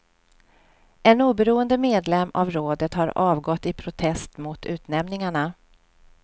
En oberoende medlem av rådet har avgått i protest mot utnämningarna.